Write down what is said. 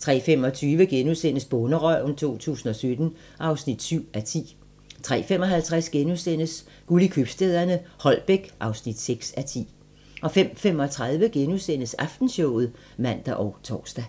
03:25: Bonderøven 2017 (7:10)* 03:55: Guld i købstæderne - Holbæk (6:10)* 05:35: Aftenshowet *(man og tor)